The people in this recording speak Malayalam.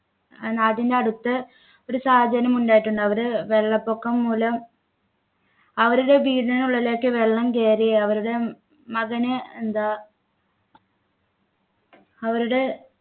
നാട്ടിൻ്റെടുത്ത് ഒരു സാധനം ഉണ്ടായിട്ടുണ്ട് അവര് വെള്ളപ്പൊക്കം മൂലം അവരുടെ വീടിനുള്ളിലേക്ക് വെള്ളം കയറി അവരുടെ മകനു എന്താ അവരുടെ